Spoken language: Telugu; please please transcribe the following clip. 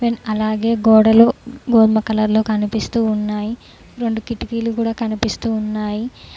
అలాగే గోడలు గోధుమ కలర్ లో కనిపిస్తూ ఉన్నాయి రెండు కిటికీ లు కూడా కనిపిస్తున్నాయి.